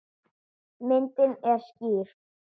Myndin er skýr.